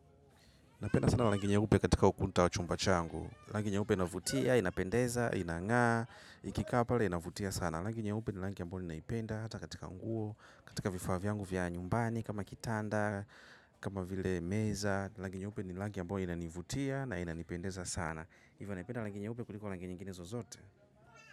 Napenda sana rangi nyeupe katika ukuta wa chumba changu. Rangu nyeupe unavutia, inapendeza, inangaa, ikikaa pale, inavutia sana. Langi nyeupe ni langi ambao ninaipenda, hata katika nguo, katika vifaa vyangu vya nyumbani, kama kitanda, kama vile meza. Rangi nye upe ni eangi ambayo inaivutia na inaipendeza sana. Ivo napenda langi nyeupe kuliko langi nyingine zozote.